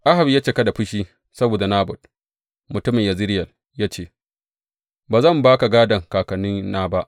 Ahab ya cika da fushi saboda Nabot, mutumin Yezireyel ya ce, Ba zan ba ka gādon kakannina ba.